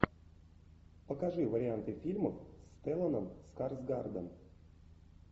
покажи варианты фильмов с стелланом скарсгардом